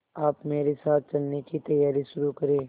आप मेरे साथ चलने की तैयारी शुरू करें